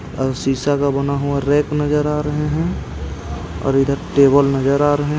और शीशा का बना हुआ रैक नजर आ रहे हैं और इधर टेबल नजर आ रहे--